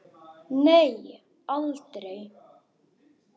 Nei aldrei.